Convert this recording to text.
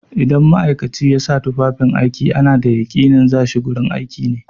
Idan ma'aikaci ya sa tufafin aiki ana da yaƙinin za shi gurin aiki ne.